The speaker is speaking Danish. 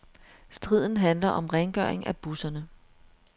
Striden handler om rengøring af busserne.